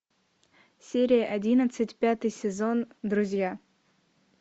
серия одиннадцать пятый сезон друзья